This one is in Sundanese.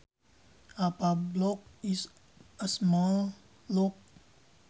A padlock is a small lock